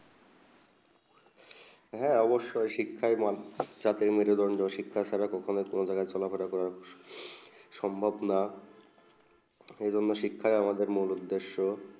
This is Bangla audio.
হেঁ অবসয়ে শিক্ষা যাতেমরোজ শিক্ষা ছাড়া কোনো কখন চলা ফিরে যাবে না সম্ভব না এর মদদে শিক্ষা আমাদের মূল উদ্দেশ